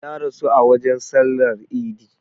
Ya rasu a wajen sallar idi